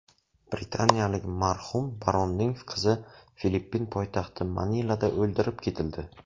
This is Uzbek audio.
Britaniyalik marhum baronning qizi Filippin poytaxti Manilada o‘ldirib ketildi.